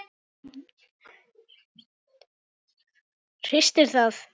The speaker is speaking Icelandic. Hristir það.